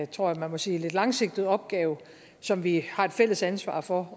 tror jeg man må sige lidt langsigtet opgave som vi har et fælles ansvar for